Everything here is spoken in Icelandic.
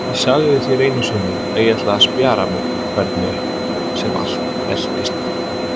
Ég sagði þér einu sinni að ég ætlaði að spjara mig hvernig sem allt veltist.